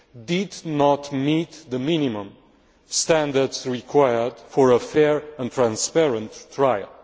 did not meet the minimum standards required for a fair and transparent trial.